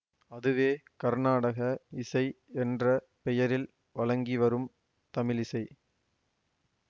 அதுவே கர்நாடக இசை என்ற பெயரில் வழங்கிவரும் தமிழிசை